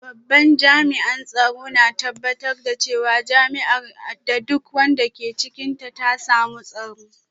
Babban jami’an tsaro na tabbatar da cewa jami’ar da duk wanda ke cikinta ta samu tsaro